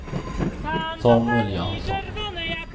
Samuel Jönsson